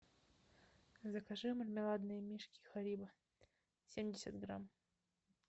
закажи мармеладные мишки харибо семьдесят грамм